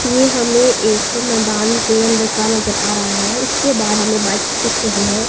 ये हमें एक मैदान के अंदर का नजर आ रहा है इसके बाहर हमें बाइक्स दिख रही हैं।